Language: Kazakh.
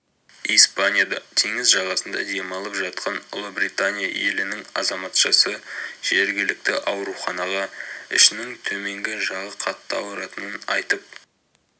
испанияда теңіз жағасында демалып жатқан ұлыбритания елінің азаматшасы жергілікті ауруханаға ішінің төменгі жағы қатты ауыратынын айтып